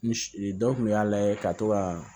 N dɔ kun y'a layɛ ka to ka